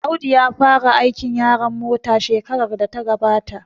Audu ya fara aikin yaron mota shekarar da ta gabata